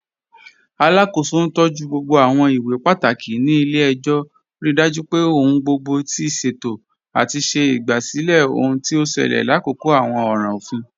Alákó̩sọ̀ ntọju gbogbo àwọn ìwé pátákì ní ilẹ̀-ẹ̀jọ̀, ríí dájú pé ọ̀hun gbogbo ti ṣéto, àti ṣè igbásílẹ̀ ọhun tí o ṣẹlẹ̀ làkòkò àwọn ọ̀ràn ọ̀fin.